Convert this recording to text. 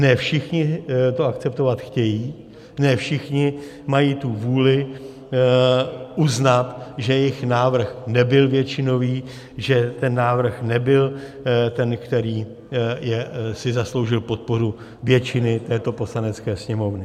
Ne všichni to akceptovat chtějí, ne všichni mají tu vůli uznat, že jejich návrh nebyl většinový, že ten návrh nebyl ten, který si zasloužil podporu většiny této Poslanecké sněmovny.